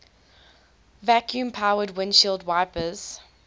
vacuum powered windshield wipers